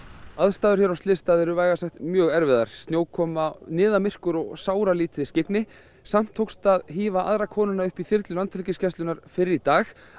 aðstæður hér á slysstað eru vægast sagt mjög erfiðar snjókoma niðamyrkur og sáralítið skyggni samt tókst að hífa aðra konuna upp í þyrlu Landhelgisgæslunnar fyrr í dag